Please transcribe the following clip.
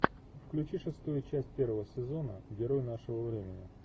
включи шестую часть первого сезона герои нашего времени